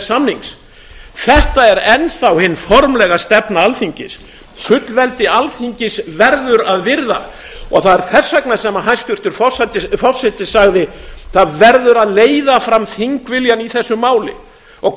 samnings þetta er enn þá hin formlega stefna alþingis fullveldi alþingis verður að virða það er þess vegna sem hæstvirtur forseti sagði það verður að leiða fram þingviljann í þessu máli og